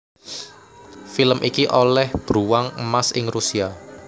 Film iki olêh Bruwang Emas ing Rusia